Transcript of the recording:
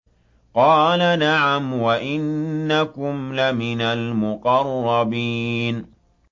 قَالَ نَعَمْ وَإِنَّكُمْ لَمِنَ الْمُقَرَّبِينَ